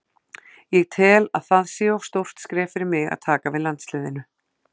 Ég tel að það sé of stórt skref fyrir mig að taka við landsliðinu.